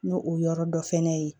N'o o yɔrɔ dɔ fɛnɛ ye